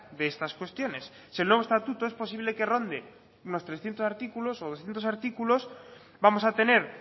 de estas cuestiones si el nuevo estatuto es posible que ronde unos trescientos artículos o doscientos artículos vamos a tener